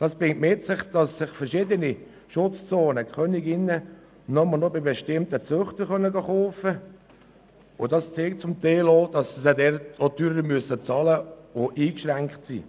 Das bringt es mit sich, dass für verschiedene Schutzzonen Königinnen nur noch bei bestimmten Züchtern gekauft werden können, und zum Teil zeigt sich auch, dass sie auch zahlen müssen oder eingeschränkt sind.